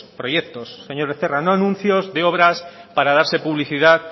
proyectos señor becerra no anuncios de obras para darse publicidad